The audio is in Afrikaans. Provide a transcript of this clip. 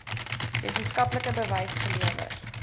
wetenskaplike bewys gelewer